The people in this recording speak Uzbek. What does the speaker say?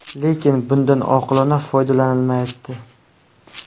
Lekin bundan oqilona foydalanilmayapti.